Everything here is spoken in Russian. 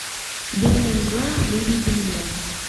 белая мгла выведи мне